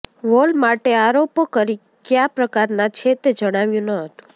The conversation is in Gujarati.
વોલમાર્ટે આરોપો કયા પ્રકારના છે તે જણાવ્યું ન હતું